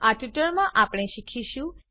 આ ટ્યુટોરીયલમાં આપણે શીખીશું